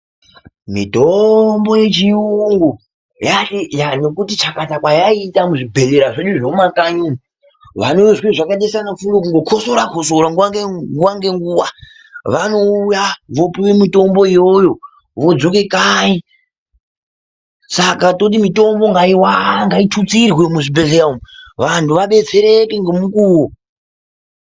Mitombo yechiyungu, yati chakata kwayaita muzvibhedhlera zvemumakanyi umu, vanozwa zvakaita saana furuwu, kukhosora khosora nguwa ngenguwa vanouya vopiwe mitombo iyoyo, vodzoke kanyi. Saka toti mitombo ngaiwande, ngaitutsirwe muzvibhedhlera umwu vantu vabetsereke ngemukuwo.